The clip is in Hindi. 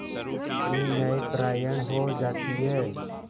कितनी न्यायपरायण हो जाती है